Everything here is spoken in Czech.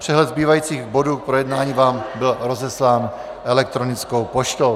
Přehled zbývajících bodů k projednání vám byl rozeslán elektronickou poštou.